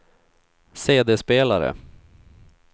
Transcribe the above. CD-spelare